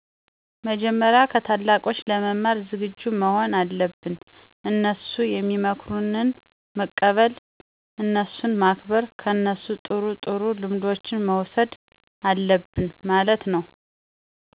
መጀመሪያ ከታላቆች ለመማር ዝግጁ መሆን አለብን፤ እነሡ ሚመክሩትን መቀበል፣ እነሡን ማክበር፣ ከነሡ ጥሩ ጥሩ ልምዶችን መውሠድ አለብን ማለት ነው።